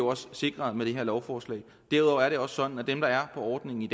også sikret med det her lovforslag derudover er det også sådan at dem der er på ordningen i